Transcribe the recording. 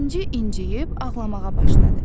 İnci incəyib ağlamağa başladı.